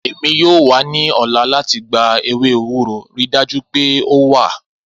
Emi yoo wa ni ọla lati gba ewe ewuro, rii daju pe o wa!